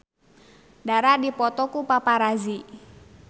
Dara dipoto ku paparazi